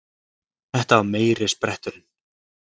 Þetta var meiri spretturinn!